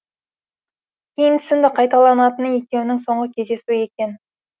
кейін түсінді қайталанатыны екеуінің соңғы кездесуі екен